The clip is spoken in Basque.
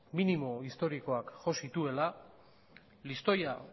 minimo historikoak jo zituela listoia